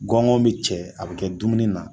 Gɔngɔn mi cɛ a bi kɛ dumuni na